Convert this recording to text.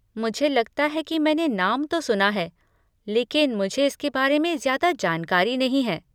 मुझे लगता है कि मैंने नाम तो सुना है, लेकिन मुझे इसके बारे में ज्यादा जानकारी नहीं है।